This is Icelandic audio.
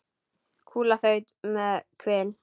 Kúla þaut hjá með hvin.